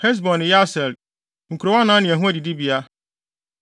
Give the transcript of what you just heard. Hesbon ne Yaser, nkurow anan ne ho adidibea.